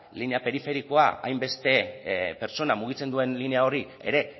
linea periferikoa hainbeste pertsona mugitzen duen linea hori ere